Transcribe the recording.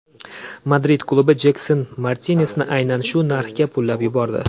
Madrid klubi Jekson Martinesni aynan shu narxga pullab yubordi.